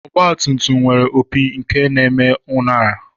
Ọgbatumtum nwere opi nke na-eme uṅara